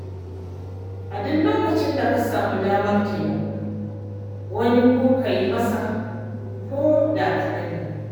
A duk lokacin da ka samu damar taimakon wani to ka yi masa ko da kaɗanne.